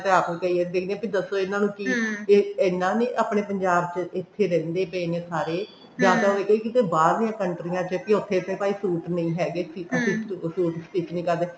ਮੈਂ ਤਾਂ ਆਪ ਕਈ ਵਾਰੀ ਦੇਖਦੀ ਹਾਂ ਕਿ ਦੱਸੋ ਇਹਨਾਂ ਨੂੰ ਕਿ ਇੰਨਾ ਨੀ ਆਪਣੇ ਪੰਜਾਬ ਚ ਇੱਥੇ ਰਹਿੰਦੇ ਪਏ ਨੇ ਸਾਰੇ ਜਾਂ ਤਾਂ ਹੋਏ ਕਿਤੇ ਬਾਹਰਲੀਆਂ ਕੰਟਰੀਆਂ ਚ ਕਿ ਉੱਥੇ ਤਾਂ ਭਾਈ suit ਨਹੀਂ ਹੈਗੇ ਸੀ ਅਸੀਂ suit stich ਨਹੀਂ ਕਰਦੇ